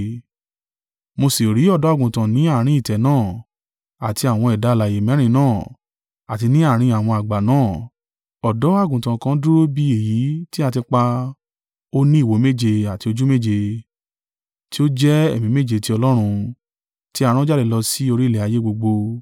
Mo sì rí Ọ̀dọ́-Àgùntàn ni àárín ìtẹ́ náà, àti àwọn ẹ̀dá alààyè mẹ́rin náà, àti ni àárín àwọn àgbà náà, Ọ̀dọ́-àgùntàn kan dúró bí èyí tí a ti pa, ó ní ìwo méje àti ojú méje, tí o jẹ́ Ẹ̀mí méje tí Ọlọ́run, tí a rán jáde lọ sì orí ilẹ̀ ayé gbogbo.